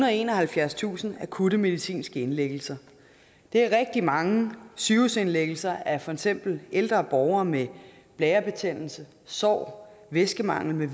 og enoghalvfjerdstusind akutte medicinske indlæggelser det er rigtig mange sygehusindlæggelser af for eksempel ældre borgere med blærebetændelse sår væskemangel